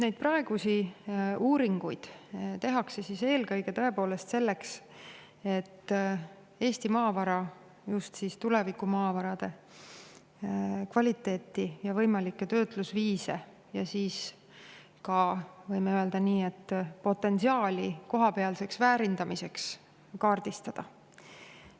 " Neid praegusi uuringuid tehakse tõepoolest eelkõige selleks, et kaardistada Eesti maavara, just tulevikumaavara kvaliteeti, võimalikke töötlusviise ja ka, võime öelda, kohapealse väärindamise potentsiaali.